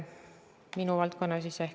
Kas saate natuke pikemalt selgitada?